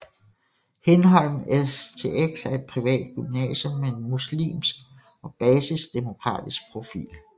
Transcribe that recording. Hindholm STX er et privat gymnasium med en muslimsk og basisdemokratisk profil